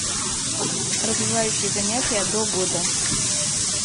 развивающие занятия до года